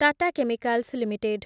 Tata chemicals limited